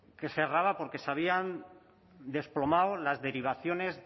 que cerraba porque se habían desplomado las derivaciones